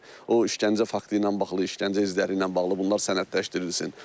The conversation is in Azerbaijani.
O işgəncə faktı ilə bağlı, işgəncə izləri ilə bağlı bunlar sənədləşdirilsin.